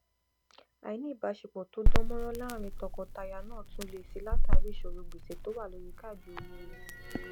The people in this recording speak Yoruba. àìní ìbáṣepọ tó dán mọrán láárín tọkọtaya náà tún le si látàrí ìṣòrò gbèsè to wà lórí káàdì owó rẹ